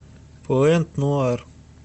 пуэнт нуар